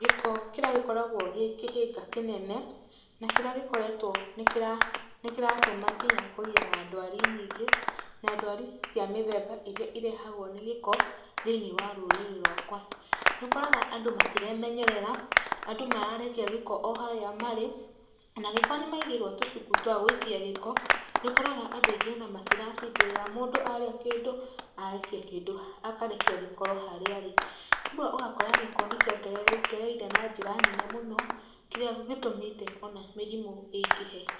Gĩko kĩrĩa gĩkoragwo gĩ kĩhĩnga kĩnene na kĩrĩa gĩkoretwo, nĩkĩratũma nginya kũgĩe na ndwari nyingĩ, na ndwari cia mĩthemba ĩrĩa ĩrehagwo nĩ gĩko thĩiniĩ wa rũrĩrĩ rwakwa. Nĩũkoraga andũ matiremenyerera, andũ mararekia gĩko o harĩa marĩ, nagĩkoo nĩmaigĩirwo tũcuku twa gũikia gĩko, nĩũkoraga andũ aingĩ ona matiratindĩrĩra, mũndũ arĩa kĩndũ arekia kĩndũ, akarekia gĩkoro harĩa arĩ. Rĩmwe ũgakora gĩko nĩkĩongererekereire na njĩra nene mũno kĩrĩa gĩtũmĩte ona mĩrimũ ĩingĩhe.